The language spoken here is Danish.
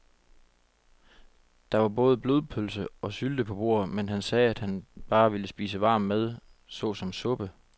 Der var både blodpølse og sylte på bordet, men han sagde, at han bare ville spise varm mad såsom suppe.